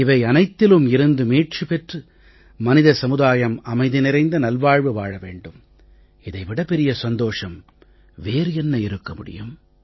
இவை அனைத்திலுமிருந்து மீட்சி பெற்று மனித சமுதாயம் அமைதி நிறைந்த நல்வாழ்வு வாழ வேண்டும் இதை விடப் பெரிய சந்தோஷம் வேறு என்ன இருக்க முடியும்